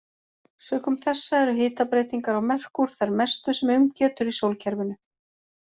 Sökum þessa eru hitabreytingar á Merkúr þær mestu sem um getur í sólkerfinu.